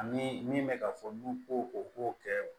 Ani min bɛ ka fɔ n'u ko o ko kɛ